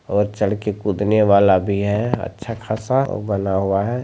और चढ़ के कूदने वाला भी है अच्छा-खासा बना हुआ है।